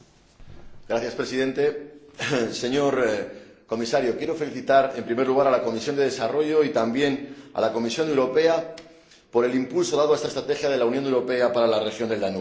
Señor Presidente, señor Comisario, quiero felicitar en primer lugar a la Comisión de Desarrollo, y también a la Comisión Europea, por el impulso dado a esta estrategia de la Unión Europea para la región del Danubio.